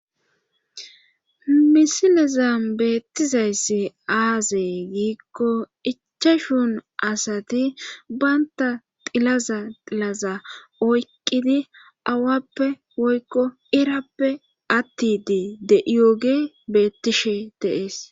misilezan beettizayssi aazey giikko ichashun asati baynta tilaza tilaza oyqqidi awappe woykko irappe attidi de'iyooge beettishshe de'ees